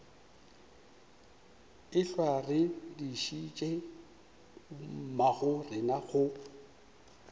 ehlwa re dišitše bommagorena go